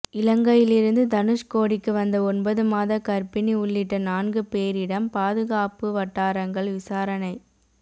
இலங்கையிலிருந்து தனுஷ்கோடிக்கு வந்த ஒன்பது மாத கர்ப்பினி உள்ளிட்ட நான்கு பேரிடம் பாதுகாப்புவட்டாரங்கள் விசாரணை